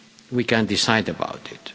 we can decide about it.